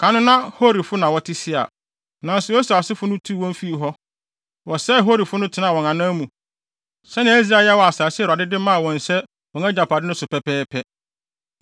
Kan no na Horifo na wɔte Seir, nanso Esau asefo no tuu wɔn fii hɔ. Wɔsɛee Horifo no tenaa wɔn anan mu sɛnea Israel yɛɛ wɔ asase a Awurade de maa wɔn sɛ wɔn agyapade no so no pɛpɛɛpɛ.